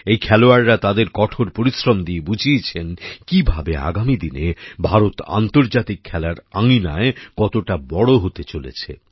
এই খেলোয়াড়রা তাদের কঠোর পরিশ্রম দিয়ে বুঝিয়েছেন কীভাবে আগামী দিনে ভারত আন্তর্জাতিক খেলার আঙিনায় কতটা বড়ো হতে চলেছে